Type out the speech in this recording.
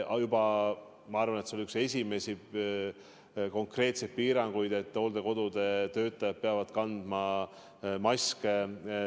Ma arvan, et see oli üks esimesi konkreetseid piiranguid, et hooldekodude töötajad peavad kandma maske.